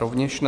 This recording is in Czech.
Rovněž ne.